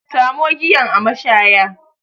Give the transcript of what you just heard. Samo giyan a mashaya